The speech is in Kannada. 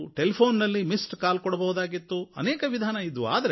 ಟೆಲಿಫ಼ೋನ್ ನಲ್ಲಿ ಮಿಸ್ಡ್ ಕಾಲ್ ಕೊಡಬಹುದಾಗಿತ್ತು ಅನೇಕ ವಿಧಾನಗಳಿದ್ವು